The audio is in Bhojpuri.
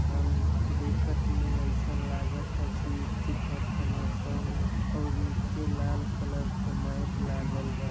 सन देखत में अईसन लागता कि ईथी कर तान सन और नीचे लाल कलर क मैट लागल बा।